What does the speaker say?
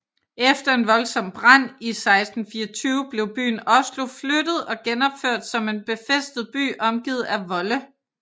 Efter en voldsomt brand i 1624 blev byen Oslo flyttet og genopført som en befæstet by omgivet af volde